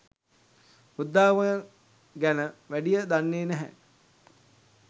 බුද්ධාගම ගැන වැඩිය දන්නේ නැහැ.